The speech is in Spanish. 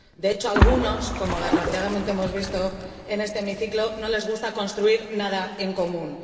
De hecho, a algunos, como desgraciadamente hemos visto en este hemiciclo, no les gusta construir nada en común.